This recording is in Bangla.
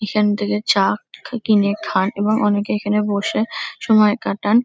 এখন থেকে চা ক কিনে খান এবং অনেকে এখানে বসে সময় কাটান।